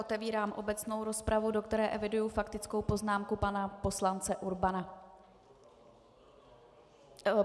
Otevírám obecnou rozpravu, do které eviduji faktickou poznámku pana poslance Urbana.